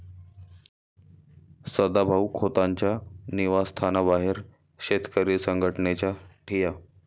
सदाभाऊ खोतांच्या निवासस्थानाबाहेर शेतकरी संघटनेचा ठिय्या